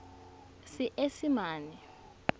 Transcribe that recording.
seesimane